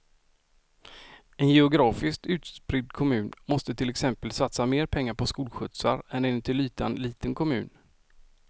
En geografiskt utspridd kommun måste till exempel satsa mer pengar på skolskjutsar än en till ytan liten kommun.